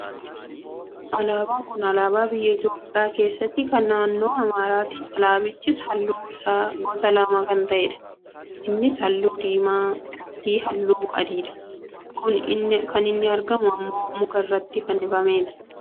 Alaabaa kun alaabaa biyya Itoopiyaa keessatti kan naannoo amaaraati. Alaabichis halluun isaa gosa lama kan ta'edha , innis halluu diimaa fi halluu adiidha. Kan inni argamu ammoo muka irratti fannifameeti.